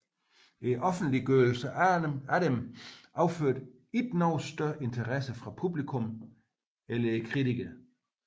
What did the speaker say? Offentliggørelsen af dem affødte ikke nogen større interesse fra publikum eller kritikerne